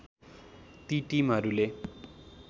ती टिमहरूले